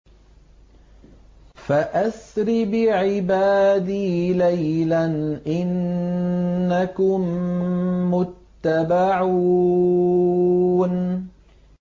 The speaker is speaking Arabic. فَأَسْرِ بِعِبَادِي لَيْلًا إِنَّكُم مُّتَّبَعُونَ